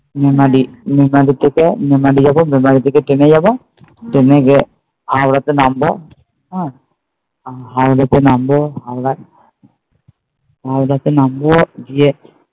থেকে মেমালি যাবো মেমালি থেকে ট্রেনে যাবো ট্রেনে গিয়ে হাওড়াতে নামবো হ্যাঁ হাওড়াতে নামবো আমরা হাওড়াতে নামবো গিয়ে